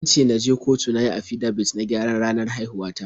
An ce na je kotu na yi afidabit na gyaran ranar haihuwa ta.